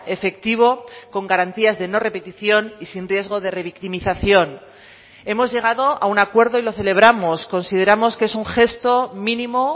efectivo con garantías de no repetición y sin riesgo de revictimización hemos llegado a un acuerdo y lo celebramos consideramos que es un gesto mínimo